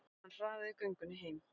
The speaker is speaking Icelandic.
Hann hraðaði göngunni heim.